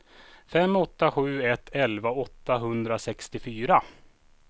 fem åtta sju ett elva åttahundrasextiofyra